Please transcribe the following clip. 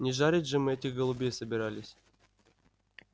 не жарить же мы этих голубей собирались